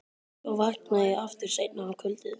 Svo vakna ég aftur seinna um kvöldið.